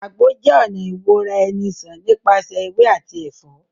Àgbo jẹ́ ọ̀nà ìwora-eni-sàn nípasẹ̀ ewé àti ẹ̀fọ́